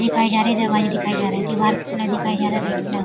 इकाई जा रही है दवाई देखई जा रही है दीवार का कलर दिखाया जा रहा है रेड कलर ।